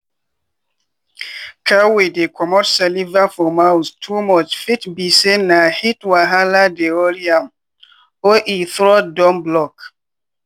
cow wey dey comot saliva for mouth too much fit be say na heat wahala dey worry am or e throat don block.